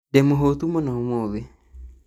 Ndĩmũhũĩtu mũno ũmũthĩ